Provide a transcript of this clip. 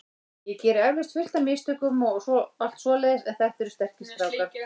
Ég geri eflaust fullt af mistökum og allt svoleiðis en þetta eru sterkir strákar.